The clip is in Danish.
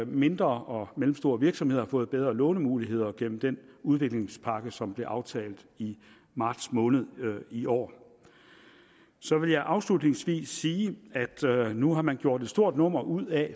mindre og mellemstore virksomheder har fået bedre lånemuligheder gennem den udviklingspakke som blev aftalt i marts måned i år så vil jeg afslutningsvis sige at nu har man gjort et stort nummer ud af